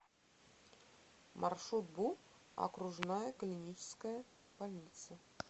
маршрут бу окружная клиническая больница